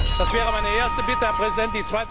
Das wäre meine erste Bitte, Herr Präsident.